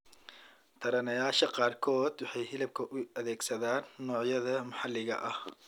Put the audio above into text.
Taranayaasha qaarkood waxay hilibka u adeegsadaan noocyada maxalliga ah.